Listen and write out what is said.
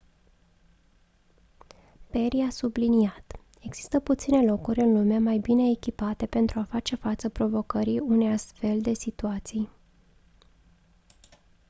perry a subliniat: «există puține locuri în lume mai bine echipate pentru a face față provocării unei astfel de situații».